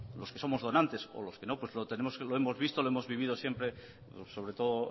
los que somos donantes o los que no lo hemos visto lo hemos vivido siempre sobre todo